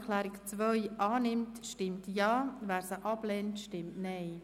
Wer diese annimmt, stimmt Ja, wer diese ablehnt, stimmt Nein.